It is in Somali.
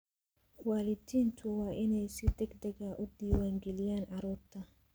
Waalidiintu waa inay si degdeg ah u diwaan galiyaan carruurta.